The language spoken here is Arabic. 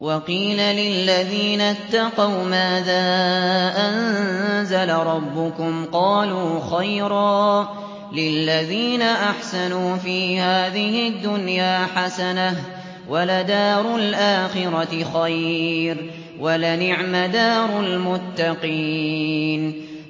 ۞ وَقِيلَ لِلَّذِينَ اتَّقَوْا مَاذَا أَنزَلَ رَبُّكُمْ ۚ قَالُوا خَيْرًا ۗ لِّلَّذِينَ أَحْسَنُوا فِي هَٰذِهِ الدُّنْيَا حَسَنَةٌ ۚ وَلَدَارُ الْآخِرَةِ خَيْرٌ ۚ وَلَنِعْمَ دَارُ الْمُتَّقِينَ